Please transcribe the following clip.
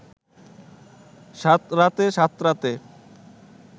সাঁতরাতে সাঁতরাতে